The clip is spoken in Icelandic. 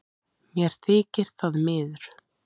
Mér þykir það miður